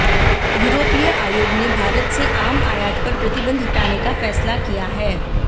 यूरोपीय आयोग ने भारत से आम आयात पर प्रतिबंध हटाने का फैसला किया है